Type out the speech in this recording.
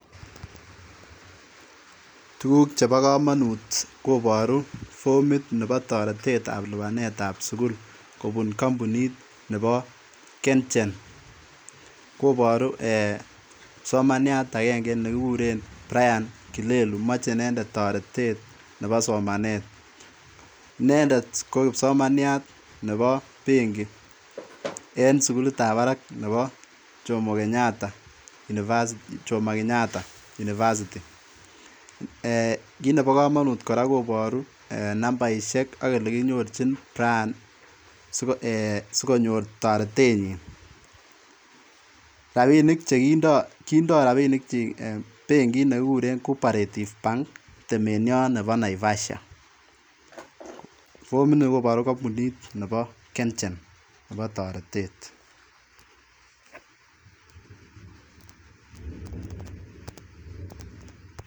Tukuk chepo komonut koporu formit nebo toretet ab lipanet ab sukul kobun kombunit nebo kenjen koboru eeh kipsomaniat agenge nekikuren brian kilelu moche inendet toretet nebo somanet, inendet ko kipsomaniat nebo benki en sukulit ab barak nebo jomo kenyatta university, Jomo kenyatta university eeh kit nebo komonut koraa koboru nambaishek ak elekinyorjin brian eeh sikonyor toretenyin, rabinit chekindo, kindo rabinik chiik bankit nekikuren cooperative bank temeniaot nebo naivasha formit nii koboru compuniit nebo kenjenebo toretet